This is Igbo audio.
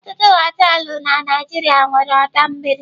Ọtụtụ họteelụ na Naijiria nwere ọdọ mmiri.